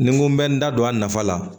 Ni n ko n bɛ n da don a nafa la